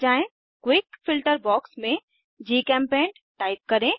quick filter quick filter box में GChemPaint type करें